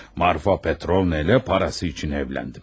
Marfa Petrovna ilə parası üçün evləndim.